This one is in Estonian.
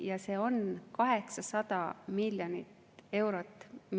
Ja see on 800 miljonit eurot.